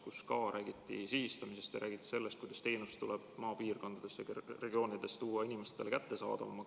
Ka selle puhul räägiti sihitamisest ja sellest, kuidas teenus tuleb maapiirkondades teha inimestele kättesaadavamaks.